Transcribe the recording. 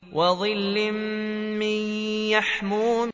وَظِلٍّ مِّن يَحْمُومٍ